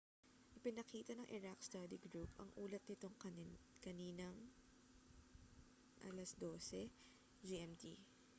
ipinakita ng iraq study group ang ulat nito kaninang 12.00 gmt